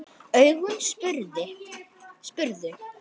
Augun spurðu.